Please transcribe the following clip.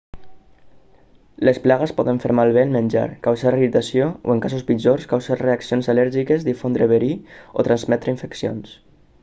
les plagues poden fer malbé el menjar causar irritació o en casos pitjors causar reaccions al·lèrgiques difondre verí o transmetre infeccions